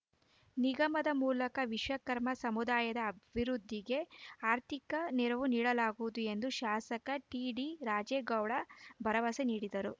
ನಿಗಮದ ಮೂಲಕ ವಿಶ್ವ ಕರ್ಮ ಸಮುದಾಯದ ಅಭಿವೃದ್ಧಿಗೆ ಆರ್ಥಿಕ ನೆರವು ನೀಡಲಾಗುವುದು ಎಂದು ಶಾಸಕ ಟಿಡಿ ರಾಜೇಗೌಡ ಭರವಸೆ ನೀಡಿದರು